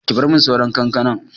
Ki bar min sauran kankanan!